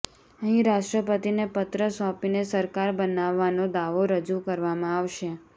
અહીં રાષ્ટ્રપતિને પત્ર સોંપીને સરકાર બનાવવાનો દાવો રજુ કરવામાં આવશે